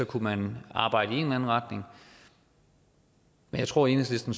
kunne man arbejde i en anden retning men jeg tror at enhedslisten